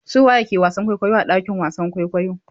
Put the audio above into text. Su waye ke wasan kwaikwayo a ɗakin wasan kwaikwayo?